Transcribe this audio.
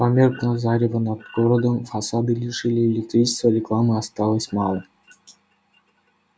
померкло зарево над городом фасады лишили электричества рекламы осталось мало